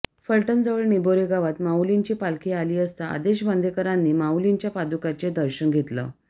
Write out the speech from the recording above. फलटणजवळ निबोरे गावात माऊलींची पालखी आली असता आदेश बांदेकरांनी माऊलींच्या पादुकांचे दर्शन घेतलं